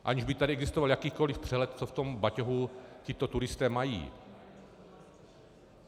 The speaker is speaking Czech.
Aniž by tady existoval jakýkoliv přehled, co v tom batohu tito turisté mají.